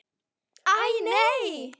Æ, nei.